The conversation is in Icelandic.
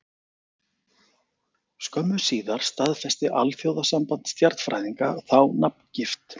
Skömmu síðar staðfesti Alþjóðasamband stjarnfræðinga þá nafngift.